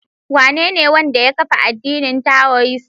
Wanene wanda ya kafa addinin taioist?